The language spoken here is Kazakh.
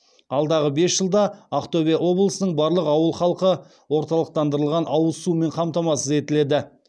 алдағы бес жылда ақтөбе облысының барлық ауыл халқы орталықтандырылған ауыз сумен қамтамасыз етіледі